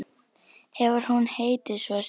Hefur hún heitið svo síðan.